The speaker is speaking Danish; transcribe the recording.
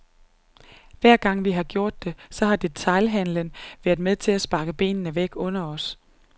Hver gang vi har gjort det, så har detailhandelen været med til at sparke benene væk under os.